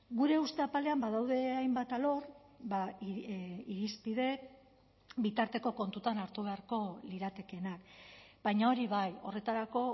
gure uste apalean badaude hainbat alor irizpide bitarteko kontutan hartu beharko liratekeenak baina hori bai horretarako